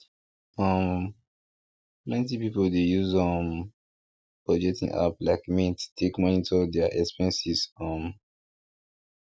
um plenty people dey use um budgeting apps like mint take monitor their expenses um